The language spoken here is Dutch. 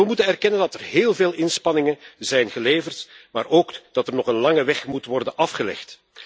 We moeten erkennen dat er heel veel inspanningen zijn geleverd, maar ook dat er nog een lange weg moet worden afgelegd.